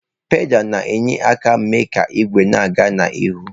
Pedalụ na-enye aka mee ka igwe na-aga n'ihu.